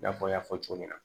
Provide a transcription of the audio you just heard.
I n'a fɔ n y'a fɔ cogo min na